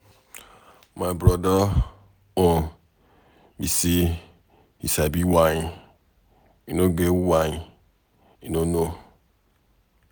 My broda own be say he sabi wine. E no get wine he no know.